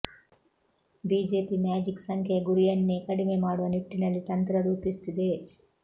BJP magic ಸಂಖ್ಯೆಯ ಗುರಿಯನ್ನೇ ಕಡಿಮೆ ಮಾಡುವ ನಿಟ್ಟಿನಲ್ಲಿ ತಂತ್ರ ರೂಪಿಸುತ್ತಿದೆ